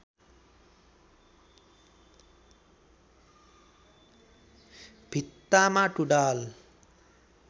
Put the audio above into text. भित्तामा टुँडाल